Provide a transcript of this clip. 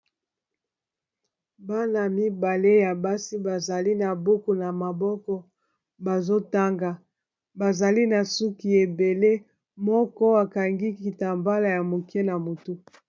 bana mibale ya basi bazali na buku na maboko bazotanga bazali na suki ebele moko akangikita mbala ya moke na motu